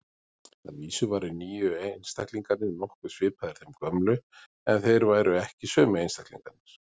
Að vísu væru nýju einstaklingarnir nokkuð svipaðir þeim gömlu, en þeir væru ekki sömu einstaklingarnir.